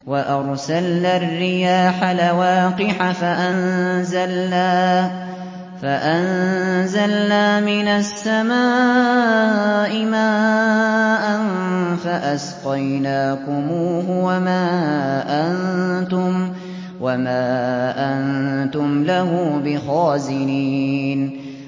وَأَرْسَلْنَا الرِّيَاحَ لَوَاقِحَ فَأَنزَلْنَا مِنَ السَّمَاءِ مَاءً فَأَسْقَيْنَاكُمُوهُ وَمَا أَنتُمْ لَهُ بِخَازِنِينَ